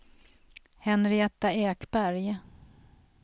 Henrietta Ekberg